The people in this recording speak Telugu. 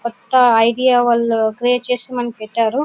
కొత్త ఐడియా వాళ్ళు క్రియేట్ చేసి మనకి పెట్టారు.